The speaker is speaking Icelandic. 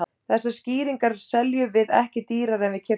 Þessar skýringar seljum við ekki dýrari en við keyptum þær.